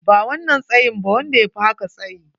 Ba wannan tsayin ba, wanda yafi haka tsayyi.